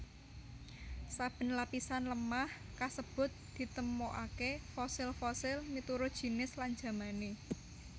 Saben lapisan lemah kasebut ditemokaké fosil fosil miturut jinis lan jamané